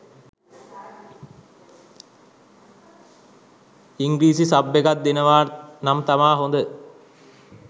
ඉංග්‍රිසි sub එකත් දෙනවා නම් තමා හොද